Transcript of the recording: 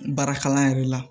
Baara kalan yɛrɛ la